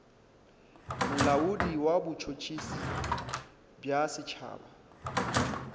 molaodi wa botšhotšhisi bja setšhaba